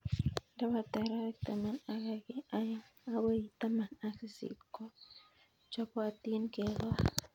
Ndapata arawek taman ak aeng' akoi taman ak sisit ko chopotin kekol